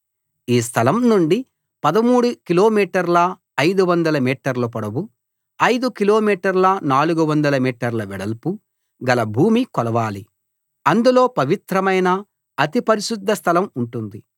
ఈ స్థలం నుండి 13 కిలోమీటర్ల 500 మీటర్ల పొడవు ఐదు కిలోమీటర్ల 400 మీటర్ల వెడల్పు గల భూమి కొలవాలి అందులో పవిత్రమైన అతి పరిశుద్ధ స్థలం ఉంటుంది